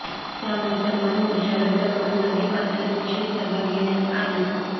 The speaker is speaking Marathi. त्यामुळे सन्मान मोर्चा रद्द करून नदीपात्रात निषेध सभा घेण्यात आली